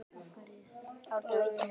Árni á ýtunni.